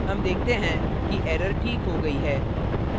हम देखते हैं कि error ठीक हो गई है